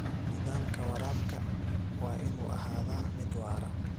Nidaamka waraabka waa inuu ahaadaa mid waara.